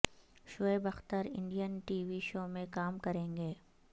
Shoaib Akhtar Indian TV show میں کام کریں گے